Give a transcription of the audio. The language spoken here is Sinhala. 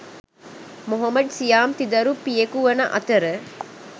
මොහොමඩ් සියාම් තිදරු පියෙකු වන අතර